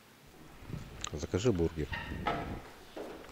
закажи бургер